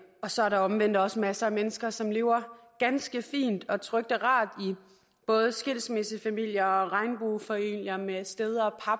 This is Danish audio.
så er der omvendt også masser af mennesker som lever ganske fint og trygt og rart i både skilsmissefamilier og regnbuefamilier med sted